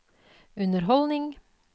underholdning